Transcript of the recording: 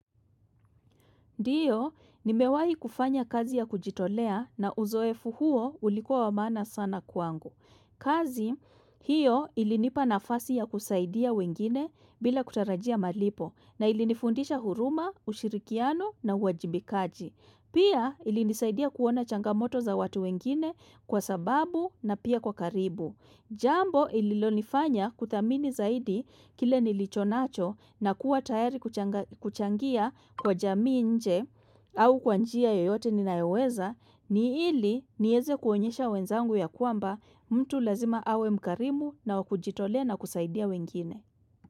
Ndiyo, nimewahi kufanya kazi ya kujitolea na uzoefu huo ulikuwa wa maana sana kwangu. Kazi, hiyo ilinipa nafasi ya kusaidia wengine bila kutarajia malipo na ilinifundisha huruma, ushirikiano na uwajibikaji. Pia ilinisaidia kuona changamoto za watu wengine kwa sababu na pia kwa karibu. Jambo ililonifanya kuthamini zaidi kile nilicho nacho na kuwa tayari kuchanga kuchangia kwa jamii nje au kwa njia yoyote ninayoweza ni ili nieze kuonyesha wenzangu ya kwamba mtu lazima awe mkarimu na wa kujitolea na kusaidia wengine.